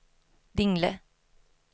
Dingle